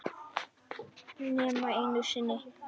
Nema einu sinni.